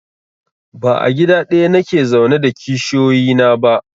Ba a gida ɗaya nake zaune da kishiyoyi na ba